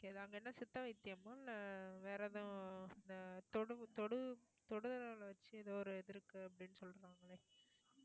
அங்க என்ன சித்தா வைத்தியம்மா இல்ல வேற எதுவும் இந்த தொடு தொடு தொட வச்சு ஏதோ ஒரு இது இருக்கு அப்படின்னு சொல்றாங்களே